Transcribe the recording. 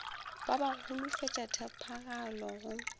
ba ba holofetša tshepagalo go